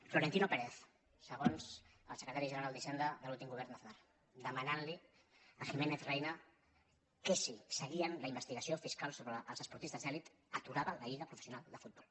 florentino pérez segons el secretari general d’hisenda de l’últim govern d’aznar demanant li a giménez reyna que si seguien la investigació fiscal sobre els esportistes d’elit aturava la lliga professional de futbol